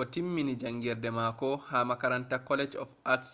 o timmini jangirde mako ha makaranta college of arts